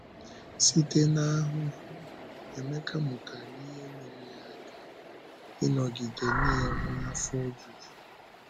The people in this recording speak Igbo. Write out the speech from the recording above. Site n’ahụhụ, Émeka mụtara ihe nyere ya aka ịnọgide na-enwe afọ ojuju.